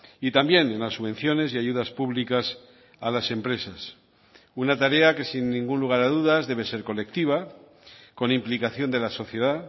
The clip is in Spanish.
y también en las subvenciones y ayudas públicas a las empresas una tarea que sin ningún lugar a dudas debe ser colectiva con implicación de la sociedad